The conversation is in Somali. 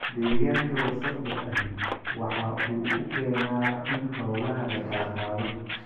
Deegaanka wasakhda ahi waxa uu keenaa in xoolaha la kala qaado.